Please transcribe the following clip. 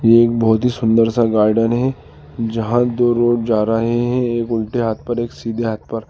एक बहुत ही सुंदर सा गार्डन है जहां दो रोड जा रहे हैं एक उल्टे हाथ पर एक सीधे हाथ पर।